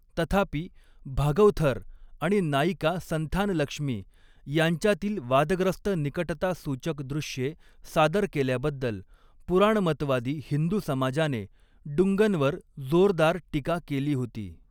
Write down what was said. तथापि, भागवथर आणि नायिका संथानलक्ष्मी यांच्यातील वादग्रस्त निकटता सूचक दृश्ये सादर केल्याबद्दल पुराणमतवादी हिंदू समाजाने डुंगनवर जोरदार टीका केली होती.